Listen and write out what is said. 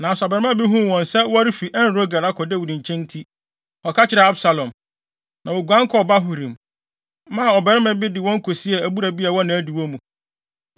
Nanso abarimaa bi huu wɔn sɛ wɔrefi En-Rogel akɔ Dawid nkyɛn nti, ɔkɔka kyerɛɛ Absalom. Na woguan kɔɔ Bahurim, maa ɔbarima bi de wɔn kosiee abura bi a ɛwɔ nʼadiwo mu.